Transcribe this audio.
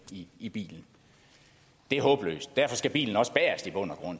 i bilen det er håbløst og derfor skal bilen også i bund og